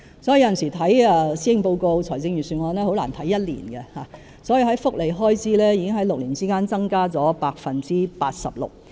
因此，有時看施政報告和財政預算案很難只看1年，福利開支在6年之間已經增加了 86%。